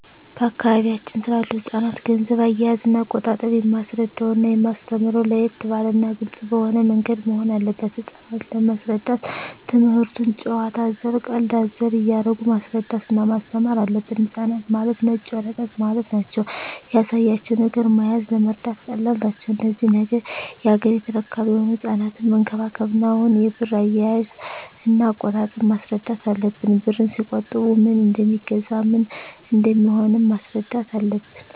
በአካባቢያችን ስላሉ ህጻናት ገንዘብ አያያዝና አቆጣጠብ የማስረዳውና የማስተምረው ለየት ባለና ግልጽ በሆነ ምንገድ መሆን አለበት ህጻናት ለመሰረዳት ትምክህቱን ጭዋታ አዘል ቀልድ አዘል እያረጉ ማስረዳት እና ማስተማር አለብን ህጻናት ማለት ነጭ ወረቀት ማለት ናቸው ያሳያቸው ነገር መያዝ ለመረዳት ቀላል ናቸው እነዚህ ነገ ያገሬ ተረካቢ የሆኑ ህጻናትን መንከባከብ እና አሁኑ የብር አያያዥ እና አቆጣጠብ ማስረዳት አለብን ብርን ሲቆጥቡ ምን እደሜገዛ ምን እንደሚሆኑም ማስረዳት አለብን